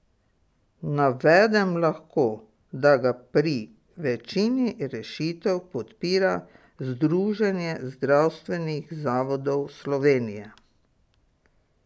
Navedem lahko, da ga pri večini rešitev podpira Združenje zdravstvenih zavodov Slovenije.